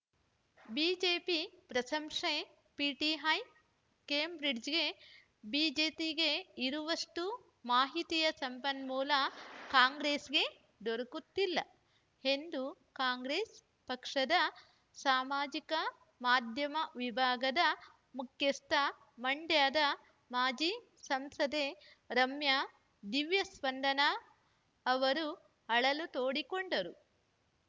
BJP ಪ್ರಶಂಸೆ PTI Cambridge ಬಿಜೆತಿ ಗೆ ಇರುವಷ್ಟುಮಾಹಿತಿಯ ಸಂಪನ್ಮೂಲ ಕಾಂಗ್ರೆಸ್‌ಗೆ ದೊರಕುತ್ತಿಲ್ಲ ಎಂದು ಕಾಂಗ್ರೆಸ್‌ ಪಕ್ಷದ ಸಾಮಾಜಿಕ ಮಾಧ್ಯಮ ವಿಭಾಗದ ಮುಖ್ಯಸ್ಥ ಮಂಡ್ಯದ ಮಾಜಿ ಸಂಸದೆ ರಮ್ಯಾ ದಿವ್ಯಸ್ಪಂದನ ಅವರು ಅಳಲು ತೋಡಿಕೊಂಡರು